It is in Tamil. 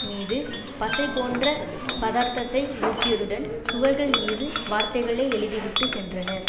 மீது பசை போன்ற பதார்த்தத்தை ஊற்றியதுடன் சுவர்கள் மீது வார்த்தைகளை எழுதி விட்டு சென்றனர்